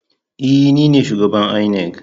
E, ni ne shugaban inec.